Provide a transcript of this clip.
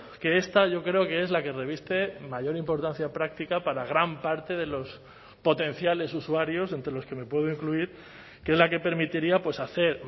que esta yo creo que es la que reviste mayor importancia práctica para gran parte de los potenciales usuarios entre los que me puedo incluir que es la que permitiría hacer